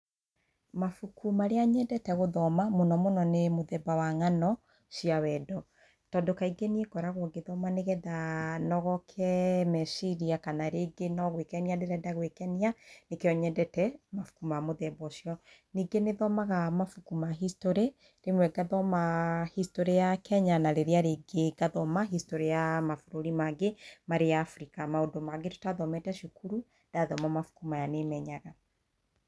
Mabuku marĩa nyendete gũthoma mũno mũno, nĩ mũthemba wa ng'ano cia wendo. Tondũ kaingĩ niĩ ngoragwo ngĩthoma nĩgetha nogoke meciria, kana rĩngĩ nĩ gũĩkenia, nĩkĩo nyendete mabuku ma muthemba ũcio. Ningĩ nĩ thomaga mabuku ma history, rĩmwe ngathoma history ya Kenya, na rĩrĩa rĩngĩ ngathoma history ya mabũrũri mangĩ marĩ Africa, maũndũ mangĩ tũtathomete cukuru, ndathoma mabuku maya nĩ menyaga.